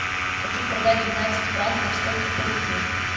хочу продать двенадцать франков сколько получу